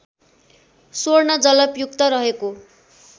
स्वर्ण जलपयुक्त रहेको